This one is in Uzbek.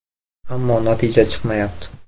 Ammo natija chiqmayapti.